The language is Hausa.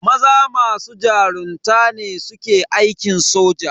Maza masu jarunta ne suke aikin soja.